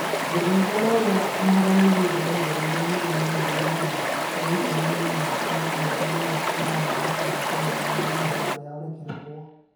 Gĩthaiga, na ũrĩa Muhoroni Youth maigĩrĩire yurũ mirioni igana rĩa ikũmi na inya tene mweri wa ĩnana makĩenda kũmuoya no ihoya rĩao rĩkĩregwo,